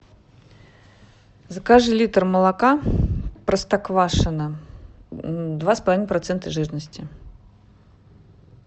закажи литр молока простоквашино два с половиной процента жирности